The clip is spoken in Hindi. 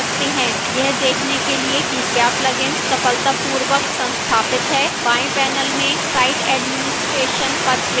यह देखने के लिए कि क्या plugin सफलतापूर्वक संस्थापित है बाएं panel में site administration पर click करें